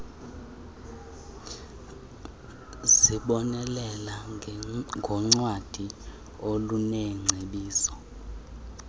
zibonelela ngoncwadi oluneengcebiso